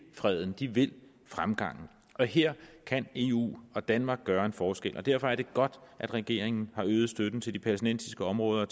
freden de vil fremgangen og her kan eu og danmark gøre en forskel derfor er det godt at regeringen har øget støtten til de palæstinensiske områder